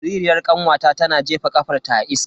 Jaririyar kanwata tana jefa kafarta a iska.